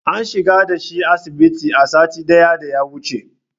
An shigar da shi asibiti a satin da ya wuche.